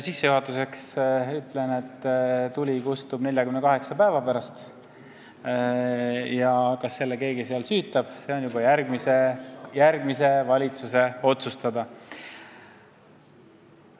Sissejuhatuseks ütlen, et tuli kustub 48 päeva pärast ja see, kas keegi selle seal uuesti süütab, on juba järgmise valitsuse otsustada.